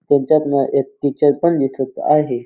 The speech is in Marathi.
त्यांच्यातन एक टीचर पण दिसत आहे.